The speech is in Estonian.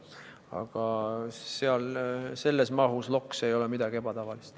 Aga selles mahus loks ei ole seal midagi ebatavalist.